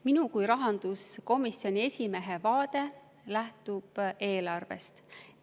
Minu kui rahanduskomisjoni esimehe vaade lähtub eelarvest.